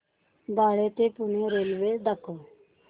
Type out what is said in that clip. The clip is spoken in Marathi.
बाळे ते पुणे रेल्वे दाखव